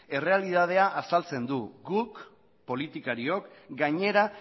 errealitatea azaltzen du guk politikariok gainera